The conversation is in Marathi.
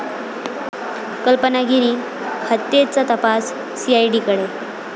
कल्पना गिरी हत्येचा तपास सीआयडीकडे